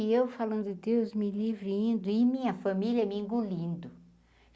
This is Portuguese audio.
E eu falando Deus me livre e indo e minha família me engolindo.